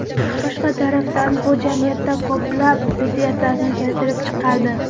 Boshqa tarafdan, bu jamiyatda ko‘plab ziddiyatlarni keltirib chiqardi.